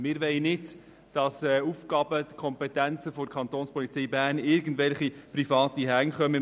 Wir wollen nicht, dass Aufgaben und Kompetenzen der Kantonspolizei Bern (Kapo Bern) in private Hände kommen.